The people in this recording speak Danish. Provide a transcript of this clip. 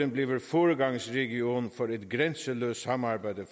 bliver foregangsregion for et grænseløst samarbejde